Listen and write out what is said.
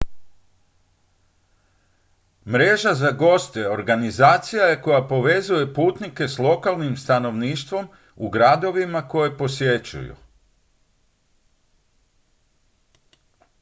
mreža za goste organizacija je koja povezuje putnike s lokalnim stanovništvom u gradovima koje posjećuju